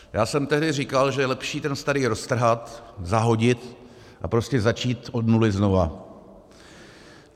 Já jsem tehdy říkal, že je lepší ten starý roztrhat, zahodit a prostě začít od nuly znova.